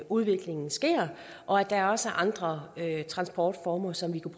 udviklingen sker og at der også er andre transportformer som vi kunne